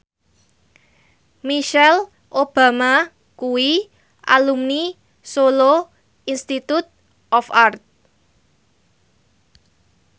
Michelle Obama kuwi alumni Solo Institute of Art